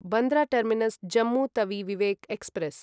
Bandra terminus Jammu Tawi Vivek express